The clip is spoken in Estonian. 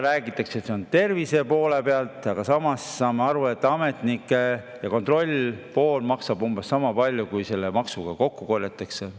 Räägitakse, et see on tervise huvides, aga samas saame aru, et ametnike ja kontrollitöö maksab umbes sama palju, kui selle maksuga kokku korjatakse.